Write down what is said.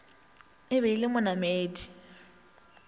e be e le monamedi